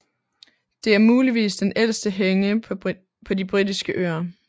Det er muligvis den ældste henge på De Britiske Øer